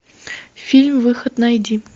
фильм выход найди